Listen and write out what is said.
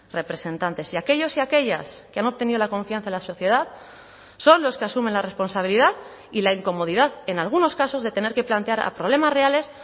representantes y aquellos y aquellas que han obtenido la confianza en la sociedad son los que asumen la responsabilidad y la incomodidad en algunos casos de tener que plantear a problemas reales